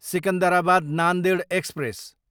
Secunderabad, Nanded express